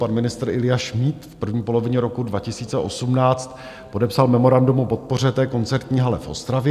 Pan ministr Ilja Šmíd v první polovině roku 2018 podepsal memorandum o podpoře té koncertní hale v Ostravě.